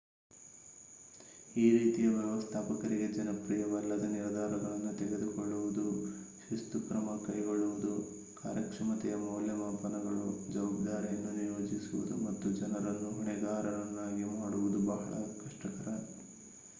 ಈ ರೀತಿಯ ವ್ಯವಸ್ಥಾಪಕರಿಗೆ ಜನಪ್ರಿಯವಲ್ಲದ ನಿರ್ಧಾರಗಳನ್ನು ತೆಗೆದುಕೊಳ್ಳುವುದು ಶಿಸ್ತು ಕ್ರಮ ಕೈಗೊಳ್ಳುವುದು ಕಾರ್ಯಕ್ಷಮತೆಯ ಮೌಲ್ಯಮಾಪನಗಳು ಜವಾಬ್ದಾರಿಯನ್ನು ನಿಯೋಜಿಸುವುದು ಮತ್ತು ಜನರನ್ನು ಹೊಣೆಗಾರರನ್ನಾಗಿ ಮಾಡುವುದು ಬಹಳ ಕಷ್ಟಕರ